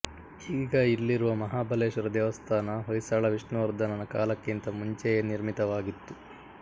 ಈಗ ಇಲ್ಲಿರುವ ಮಹಾಬಲೇಶ್ವರ ದೇವಸ್ಥಾನ ಹೊಯ್ಸಳ ವಿಷ್ಣುವರ್ಧನನ ಕಾಲಕ್ಕಿಂತ ಮುಂಚೆಯೇ ನಿರ್ಮಿತವಾಗಿತ್ತು